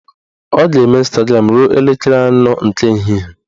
Ọ ga-eme Ịnstagram ruo elekere anọ nke ehihie